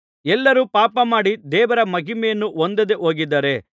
ಎಲ್ಲರೂ ಪಾಪ ಮಾಡಿ ದೇವರ ಮಹಿಮೆಯನ್ನು ಹೊಂದದೇ ಹೋಗಿದ್ದಾರೆ